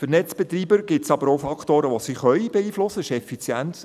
Für die Netzbetreiber gibt es aber auch Faktoren, die sie beeinflussen .